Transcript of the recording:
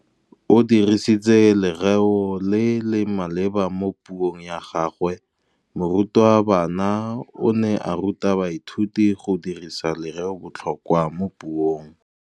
O dirisitse lerêo le le maleba mo puông ya gagwe. Morutabana o ne a ruta baithuti go dirisa lêrêôbotlhôkwa mo puong.